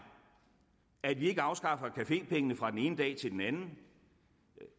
at vi ikke afskaffer cafépengene fra den ene dag til den anden